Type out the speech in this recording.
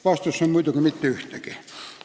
Vastus on muidugi, et mitte ühtegi.